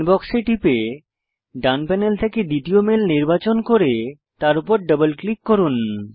inbox এ টিপে ডান প্যানেল থেকে দ্বিতীয় মেইল নির্বাচন করে তার উপর ডবল ক্লিক করুন